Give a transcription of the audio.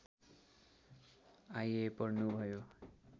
आइए पढ्नुभयो